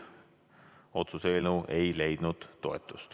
Otsuse eelnõu ei leidnud toetust.